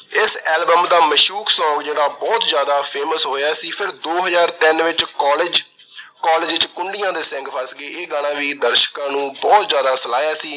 ਇਸ album ਦਾ ਮਸ਼ੂਕ song ਜਿਹੜਾ ਬਹੁਤ ਜਿਆਦਾ famous ਹੋਇਆ ਸੀ, ਫਿਰ ਦੋ ਹਜ਼ਾਰ ਤਿੰਨ ਵਿੱਚ college college ਵਿੱਚ ਕੁੰਡੀਆਂ ਦੇ ਸਿੰਗ ਫਸ ਗਏ। ਇਹ ਗਾਣਾ ਵੀ ਦਰਸ਼ਕਾਂ ਨੇ ਬਹੁਤ ਜਿਆਦਾ ਸਲਾਇਆ ਸੀ।